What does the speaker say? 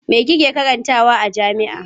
Me kike karantawa a jami'a?